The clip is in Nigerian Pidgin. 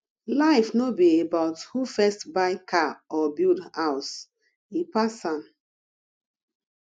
life no be about who first buy car or build house e pass am